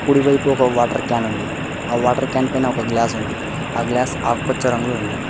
కుడివైపు ఒక water can ఉంది ఆ వాటర్ క్యాన్ పైన ఒక గ్లాస్ ఉంది ఆ గ్లాస్ ఆకుపచ్చ రంగులో ఉంది.